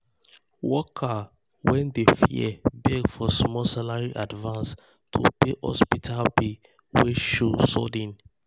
worker wey dey fear beg for small salary advance to pay hospital bill wey show sudden.